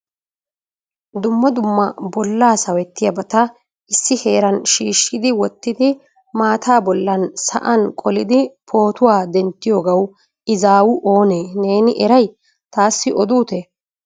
Dumma dumma bolla sawettiyabata issi heeran shiishshi wottidi maata bollan sa'an qolidi pootuwaa denttidoogaw izzaaw oone neeni eray taassi odutee?